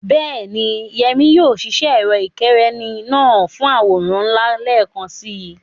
Bẹ́ẹ̀ni, Yemi yóò ṣiṣẹ́ ẹ̀rọ ìkẹ́rẹ́nì náà fún àwòrán ńlá lẹ́ẹ̀kan si.